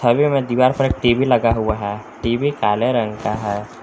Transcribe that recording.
छवि में दीवार पर एक टी_वी लगा हुआ है टी_वी काले रंग का है।